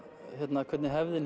hvernig hefðin